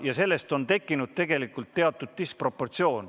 Ja selle tagajärjel on tegelikult tekkinud teatud disproportsioon.